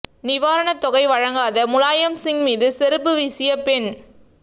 நிவாரண தொகை வழங்காத முலாயம் சிங் மீது செருப்பு வீசிய பெண்